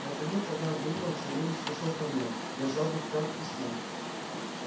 наконец однажды утром савельич вошёл ко мне держа в руках письмо